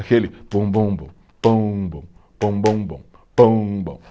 Aquele pum bum bum, pum bum, pum bum bum, pum bum.